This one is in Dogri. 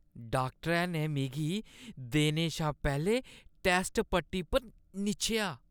डाक्टरै ने मिगी देने शा पैह्‌लें टैस्ट पट्टी पर निच्छेआ।